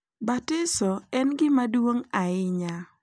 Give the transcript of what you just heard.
Batiso en gima duong’ ahinya,